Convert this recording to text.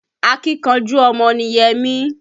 Akínkanjú ọmọ ni Yẹmí